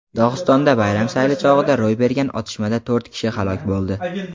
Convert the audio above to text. Dog‘istonda bayram sayli chog‘ida ro‘y bergan otishmada to‘rt kishi halok bo‘ldi.